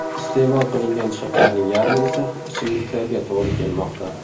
Iste’mol qilingan shakarning yarmi esa, ichimliklarga to‘g‘ri kelmoqda.